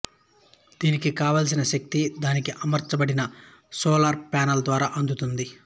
దీనికి కావలసిన శక్తి దీనికి అమర్చబడిన సోలారు ప్యానెల్ ద్వారా అందుతుంది